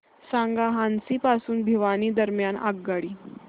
सांगा हान्सी पासून भिवानी दरम्यान आगगाडी